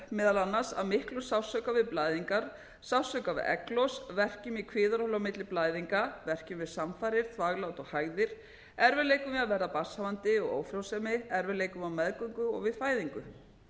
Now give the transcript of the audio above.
meðal annars af miklum sársauka við blæðingar sársauka við egglos verkjum í kviðarholi á milli blæðinga verkjum við samfarir þvaglát og hægðir erfiðleikum við að verða barnshafandi og ófrjósemi erfiðleikum á meðgöngu og við fæðingu